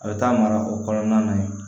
A bɛ taa mara o kɔnɔna na yen